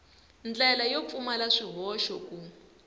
ndlela yo pfumala swihoxo ku